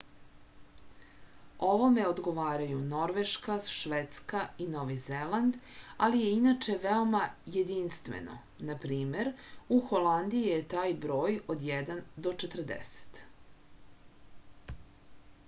овоме одговарају норвешка шведска и нови зеланд али је иначе веома јединствено нпр. у холандији је тај број од један до четрдесет